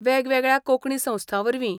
वेगवेगळ्या कोंकणी संस्थां वरवीं